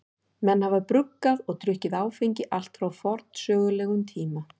Menn hafa bruggað og drukkið áfengi allt frá forsögulegum tíma.